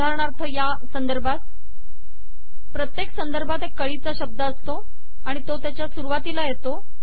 उदाहरणार्थ या संदर्भात प्रत्येक संदर्भात एक कळीचा शब्द असतो आणि तो त्याच्या सुरवातीला येतो